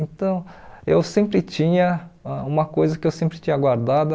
Então, eu sempre tinha uma coisa que eu sempre tinha guardada